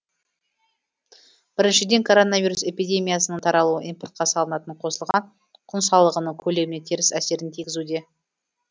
біріншіден коронавирус эпидемиясынын таралуы импортқа салынатын қосылған құн салығының көлеміне теріс әсерін тигізуде